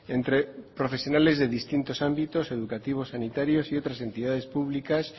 entre profesionales de distintos ámbitos educativos sanitarios y otras entidades públicas